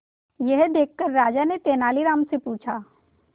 यह देखकर राजा ने तेनालीराम से पूछा